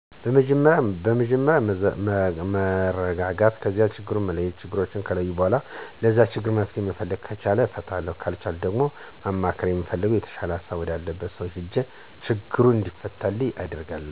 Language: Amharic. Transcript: መጀመርያ መረጋጋት ከዛ ችግሩን መለየት ችግሩን ከለየሁ በኋላ ለዛ ችግር መፍትሄ መፈለግ ከቻልሁ እፈታዋለሁ ካልቻልሁ ደግሞ ማማከር ለምፈለገው/የተሻለ ሀሳብ ወዳለው ሰው እሄድና ችግሩ እንዲፈታ አደርጋለሁ።